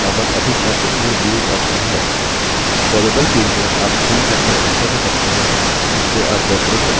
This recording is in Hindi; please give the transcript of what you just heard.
variable field में आप zoom factor enter कर सकते हैं जिसमें आप document प्रदर्शित करना चाहते हैं